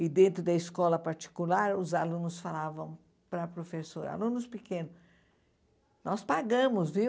E dentro da escola particular, os alunos falavam para a professora, alunos pequenos, nós pagamos, viu?